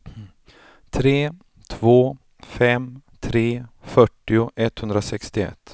tre två fem tre fyrtio etthundrasextioett